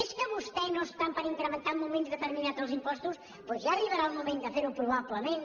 és que vostè no està per incrementar en moments determinats els impostos doncs ja arribarà el moment de fer ho probablement